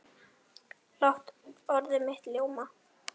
Lát orð mitt ljóma.